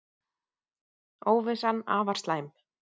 Óvissan afar slæm